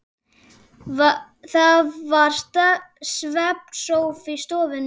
Það var svefnsófi í stofunni og